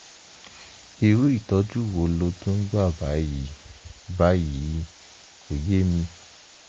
irú ìtọ́jú wo ló tún gbà báyìí? báyìí? kò yé mi